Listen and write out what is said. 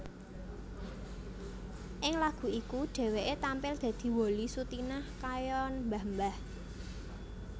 Ing lagu iku dhéwéké tampil dadi Wolly Sutinah kaya mbah mbah